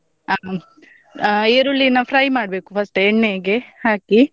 ಹಾ ಹ್ಮ್ ಈರುಳ್ಳಿನ fry ಮಾಡ್ಬೇಕು first ಎಣ್ಣೆಗೆ ಹಾಕಿ.